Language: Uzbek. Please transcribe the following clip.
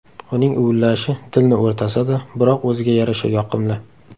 Uning uvillashi dilni o‘rtasa-da, biroq o‘ziga yarasha yoqimli.